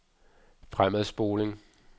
fremadspoling